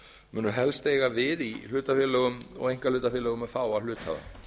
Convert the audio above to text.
munu helst eiga við í hlutafélögum og einkahlutafélögum með fáa hluthafa